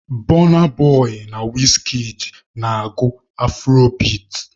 Bọna boị na wizkid na-agụ afurobeat.